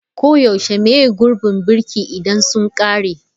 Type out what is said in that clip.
Koyaushe maye gurbin birki idan sun ƙare.